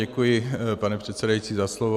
Děkuji, pane předsedající, za slovo.